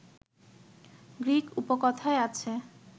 Greek উপকথায় আছে